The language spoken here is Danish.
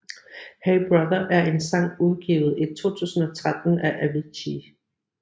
Hey Brother er en sang udgivet i 2013 af Avicii